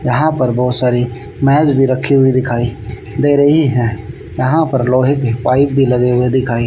यहां पर बहोत सारी मेज भी रखी हुई दिखाई दे रही है यहां पर लोहे की पाइप भी लगे हुए दिखाई--